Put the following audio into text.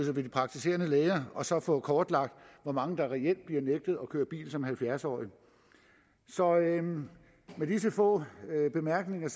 de praktiserende læger og så få kortlagt hvor mange der reelt bliver nægtet at køre bil som halvfjerds årige så med disse få bemærkninger